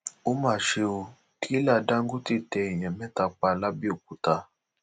ó mà ṣe ò tìrẹlà dàńgọtẹ tẹ èèyàn mẹta pa làbẹòkúta